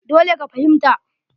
Dole ka fahimta!